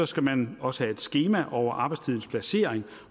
skal man også have et skema over arbejdstidens placering